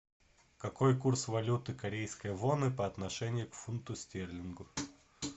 какой курс валюты корейской воны по отношению к фунту стерлингу